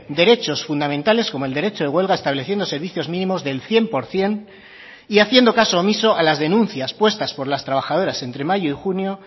derechos fundamentales como el derecho de huelga estableciendo servicios mínimos del cien por ciento y haciendo caso omiso a las denuncias puestas por las trabajadoras entre mayo y junio